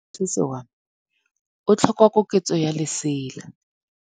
Moroki wa mosese wa me o tlhoka koketsô ya lesela.